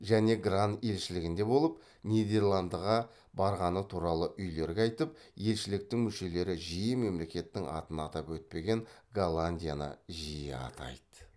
және гран елшілігінде болып нидерландыға барғаны туралы үйлерге айтып елшіліктің мүшелері жиі мемлекеттің атын атап өтпеген голландияны жиі атайды